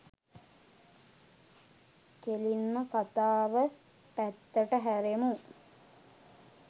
කෙලින්ම කතාව පැත්තට හැරෙමු.